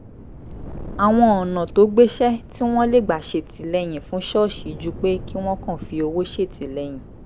àwọn ọ̀nà tó gbéṣẹ́ tí wọ́n lè gbà ṣètìlẹ́yìn fún ṣọ́ọ̀ṣì ju pé kí wọ́n kàn fi owó ṣètìlẹ́yìn